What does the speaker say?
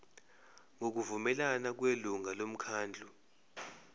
ngokuvumelana nelungu lomkhandlu